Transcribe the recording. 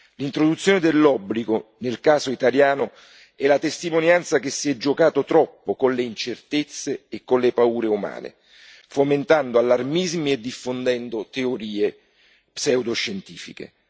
L'introduzione dell'obbligo, nel caso italiano, è la testimonianza che si è giocato troppo con le incertezze e con le paure umane, fomentando allarmismi e diffondendo teorie pseudo scientifiche.